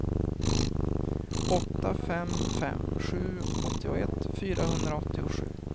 åtta fem fem sju åttioett fyrahundraåttiosju